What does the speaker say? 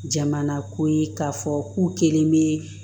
Jamana ko ye k'a fɔ k'u kelen bɛ